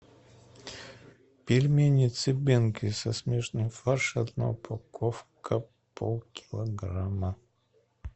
пельмени цыбенко со смешанным фаршем одна упаковка полкилограмма